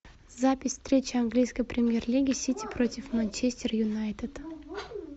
запись встречи английской премьер лиги сити против манчестер юнайтед